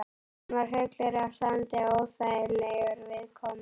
Hann var fullur af sandi og óþægilegur viðkomu.